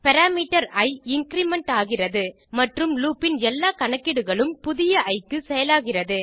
parameter i increment ஆகிறது மற்றும் loop இன் எல்லா கணக்கீடுகளும் புதிய இ க்கு செயலாகிறது